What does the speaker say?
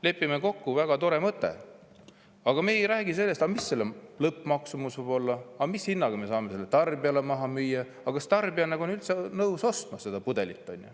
Lepime kokku, väga tore mõte, aga me ei räägi sellest, mis selle lõppmaksumus võib olla, mis hinnaga me saame selle tarbijale maha müüa, kas tarbija on üldse nõus ostma seda pudelit.